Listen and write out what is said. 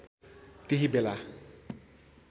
त्यही बेला